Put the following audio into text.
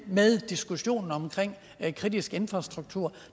med diskussionen om kritisk infrastruktur